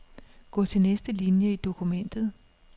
Gå til næste linie i dokumentet.